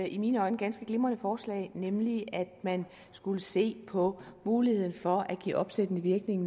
i mine øjne ganske glimrende forslag nemlig at man skulle se på muligheden for at give opsættende virkning